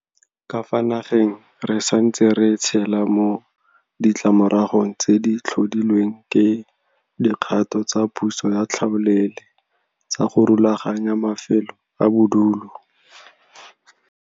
Ka fa nageng re santse re tshelela mo ditlamoragong tse di tlhodilweng ke dikgato tsa puso ya tlhaolele tsa go rulaganya mafelo a bodulo.